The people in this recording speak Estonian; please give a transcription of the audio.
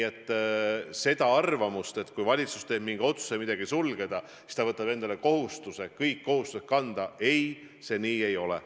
See arvamus, et kui valitsus teeb otsuse midagi sulgeda, siis ta võtab endale kohustuse kõik kohustused kanda – ei, see nii ei ole.